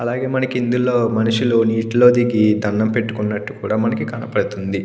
అలాగే మనకి ఇందులో మనుషులు నీటిలోకి తిరిగి దండం పెట్టుకున్నట్టు కూడా మనకి కనబడుతుంది.